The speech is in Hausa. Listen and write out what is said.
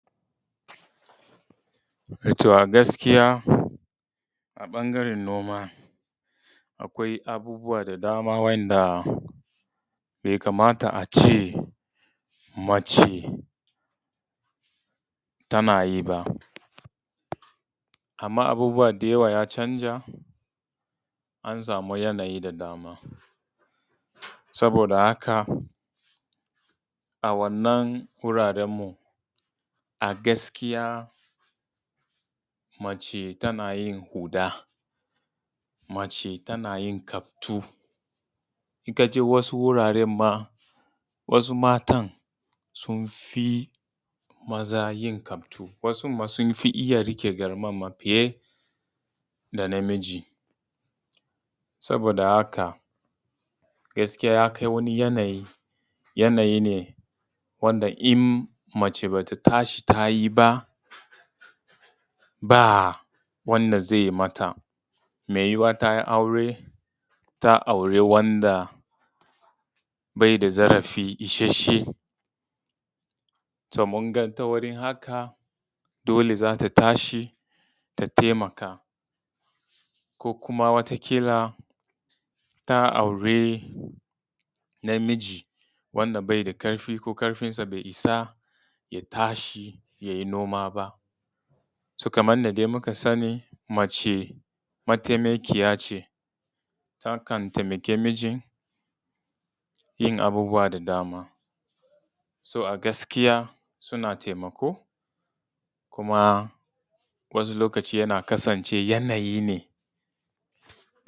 Eh to a gaskiya a ɓangaren noma akwai abubuwa da dama wa'inda bai kamata a ce mace tana yi ba. Amma abubuwa da yawa ya canza an samu yanayi da dama, saboda haka a wannan wuraren a gaskiya mace tana yin huɗa, mace tana yin kaftu, in ka je wasu wuraren ma, wasu matan sun fi maza yin kaftu, wasun ma sun fi iya riƙe garman ma fiye da namiji. Saboda haka gaskiya ya kai wani yanayi, yanayi ne wanda in mace bata tashi tayi ba, ba wanda zai mata. mai yiwuwa ta yi aure, ta auri wanda bai da zarafi isheshe, to ta wurin haka dole za ta tashi ta taimaka, ko kuma wata ƙila ta aure namiji wanda wanda bai da ƙarfi ko ƙarfinsa bai isa ya tashi yayi noma ba. kaman yanda dai muka sani mace matainakiya ce, takan taimaki mijin yin abubuwa da dama. A gaskiya suna taimako kuma wasu lokacin ya kasance yanayi ne.